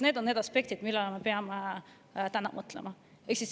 Need on aspektid, millele me peame täna mõtlema.